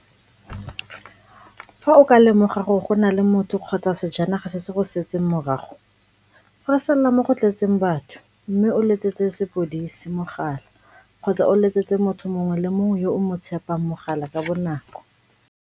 Fa o ka lemoga gore go na le motho kgotsa sejanaga se se go setseng morago, feresella mo go tletseng batho mme o letsetse sepodisi mogala kgotsa o letsetse motho mongwe le mongwe yo o mo tshepang mogala ka bonako.